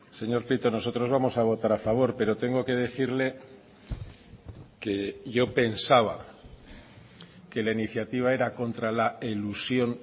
señor prieto nosotros vamos a votar a favor pero tengo que decirle que yo pensaba que la iniciativa era contra la elusión